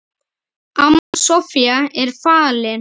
Amma Soffía er fallin.